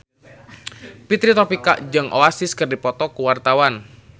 Fitri Tropika jeung Oasis keur dipoto ku wartawan